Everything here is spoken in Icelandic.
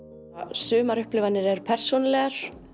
sumar upplifanir eru persónulegar